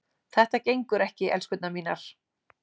Þetta gengur ekki, elskurnar mínar.